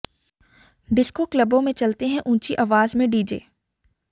disco क्लबों में चलते हैं ऊंची आवाज में डीजे